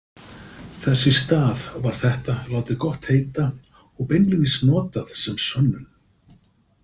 Þess í stað var þetta látið gott heita og beinlínis notað sem sönnun.